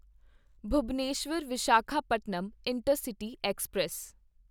Bhubaneswar Visakhapatnam intercity express